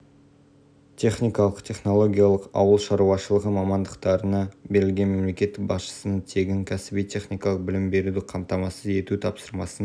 мемлекеттік білім беру тапсырысы бойынша мың студент жұмысшы мамандық бойынша білім алуда кадрларды даярлауда негізгі басымдық